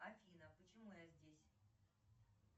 афина почему я здесь